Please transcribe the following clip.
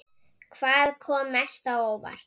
Hvað kom mest á óvart?